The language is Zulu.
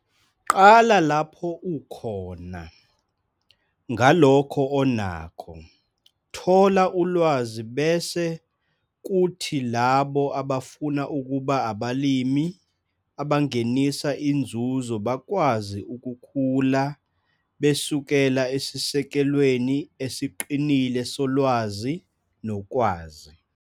Qala lapho ukhona, ngalokho onakho - thola ulwazi bese kuthi labo abafuna ukuba abalimi abangenisa inzuzo bakwazi ukukhula besukela esisekelweni esiqinile solwazi nokwazi.